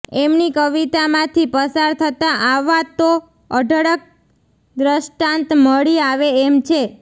એમની કવિતામાંથી પસાર થતાં આવા તો અઢળક ર્દષ્ટાંત મળી આવે એમ છે